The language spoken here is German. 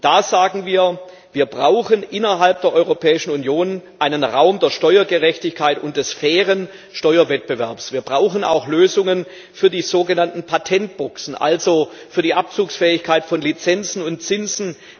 Und da sagen wir, dass wir innerhalb der Europäischen Union einen Raum der Steuergerechtigkeit und des fairen Steuerwettbewerbs brauchen. Wir brauchen auch Lösungen für die sogenannten Patentboxen, also für die Abzugsfähigkeit von Lizenzen und Zinsen.